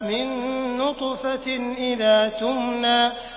مِن نُّطْفَةٍ إِذَا تُمْنَىٰ